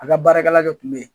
A ka baarakɛla jɔ kun be ye